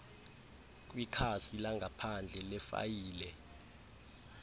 kwikhasi langaphandle lefayile